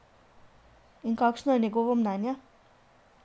In kakšno je njegovo mnenje?